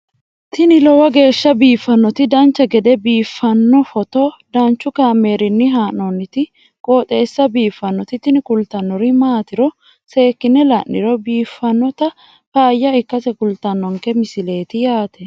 tini lowo geeshsha biiffannoti dancha gede biiffanno footo danchu kaameerinni haa'noonniti qooxeessa biiffannoti tini kultannori maatiro seekkine la'niro biiffannota faayya ikkase kultannoke misileeti yaate